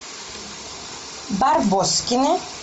барбоскины